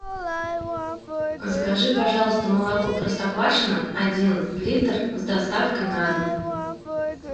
закажи пожалуйста молоко простоквашино один литр с доставкой на дом